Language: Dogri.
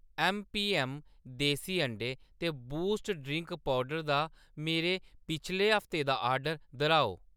ऐम्म पी ऐम्म देसी अंडें ते बूस्ट पेय पौडर दा मेरा पिछले हफ्ते दा आर्डर दर्‌हाओ।